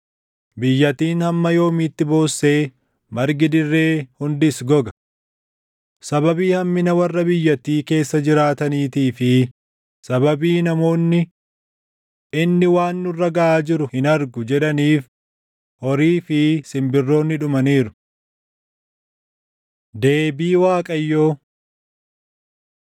Biyyattiin hamma yoomiitti boossee margi dirree hundis goga? Sababii hammina warra biyyattii keessa jiraataniitii fi sababii namoonni, “Inni waan nurra gaʼaa jiru hin argu” jedhaniif horii fi simbirroonni dhumaniiru. Deebii Waaqayyoo